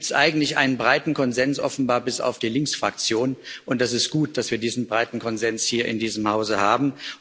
Da gibt es eigentlich einen breiten Konsens, offenbar bis auf die Linksfraktion, und es ist gut, dass wir diesen breiten Konsens hier in diesem Hause haben.